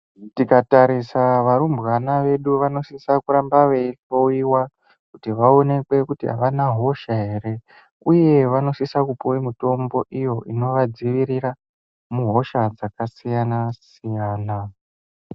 Tikatarisa varumbwana vedu vanosisa kuramba veihloiwa kuti avana hosha ere uye vanosisa kupuwe mitombo iyo inovadzivirira muhosha dzakasiyana siyana.